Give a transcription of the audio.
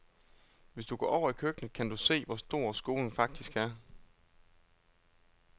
Hvis du går over i køkkenet, kan du se, hvor stor skolen faktisk er.